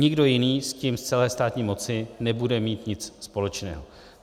Nikdo jiný s tím z celé státní moci nebude mít nic společného.